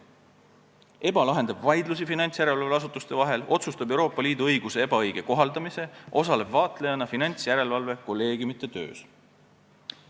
EBA lahendab vaidlusi finantsjärelevalveasutuste vahel, teeb otsuseid Euroopa Liidu õiguse ebaõige kohaldamise kohta ja osaleb vaatlejana finantsjärelevalve kolleegiumide töös.